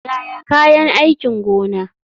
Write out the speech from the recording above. Yaya kayan aikin gona.